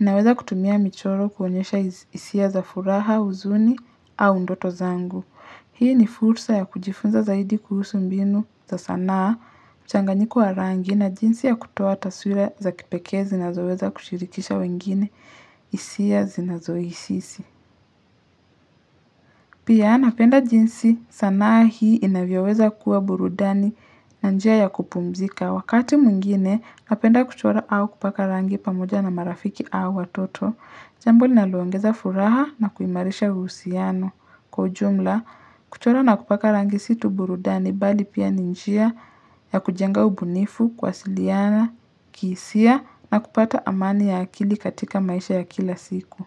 Ninaweza kutumia michoro kuonyesha hisia za furaha huzuni au ndoto zangu. Hii ni fursa ya kujifunza zaidi kuhusu mbinu za sanaa mchanganyiko wa rangi na jinsi ya kutoa taswira za kipekee zinazoweza kushirikisha wengine hisia zinazo isisi. Pia napenda jinsi sanaa hii inavyoweza kuwa burudani na njia ya kupumzika. Wakati mwingine napenda kuchora au kupaka rangi pamoja na marafiki au watoto. Jambo linaloongeza furaha na kuimarisha uhusiano. Kwa ujumla kuchora na kupaka rangi si tu burudani bali pia ni njia ya kujenga ubunifu, kuwasiliana, kihisia na kupata amani ya akili katika maisha ya kila siku.